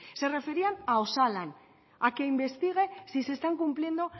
se referían a osalan a que investigue si se están cumpliendo